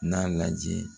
N'a lajɛ